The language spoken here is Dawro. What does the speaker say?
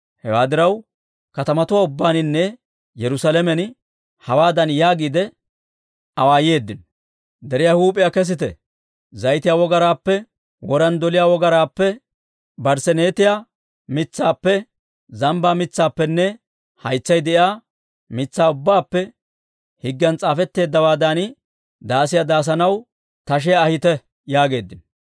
Hewaa diraw, katamatuwaa ubbaaninne Yerusaalamen hawaadan yaagiide awaayeeddino; «Deriyaa huup'iyaa kesite; zayitiyaa wogaraappe, woran doliyaa wogaraappe, barsseenetiyaa mitsaappe, zambbaa mitsaappenne haytsay de'iyaa mitsaa ubbaappe higgiyan s'aafetteeddawaadan, daasiyaa daasanaw tashiyaa ahite» yaageeddino.